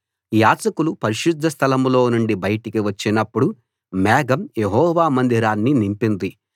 యాజకులు పరిశుద్ధ స్థలం లో నుండి బయటికి వచ్చినప్పుడు మేఘం యెహోవా మందిరాన్ని నింపింది